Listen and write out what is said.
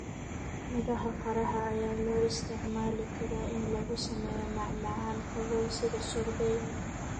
Miraha qaraha ayaa loo isticmaali karaa in lagu sameeyo macmacaan qabow sida sorbet.